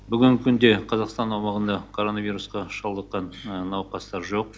бүгінгі күнде қазақстан аумағында короновирусқа шалдыққан науқастар жоқ